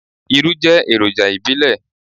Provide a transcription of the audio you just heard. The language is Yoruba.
Irú jẹ́ èròjà ìbílẹ̀.